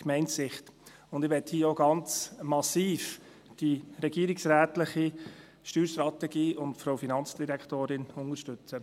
Und ich will hier auch ganz massiv die regierungsrätliche Steuerstrategie und die Frau Finanzdirektorin unterstützen.